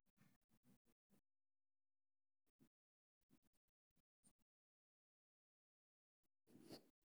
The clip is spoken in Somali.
Macallimiintu waxay inta badan ka maqan yihiin tababar rasmi ah oo ku saabsan hababka barbaarinta casriga ah.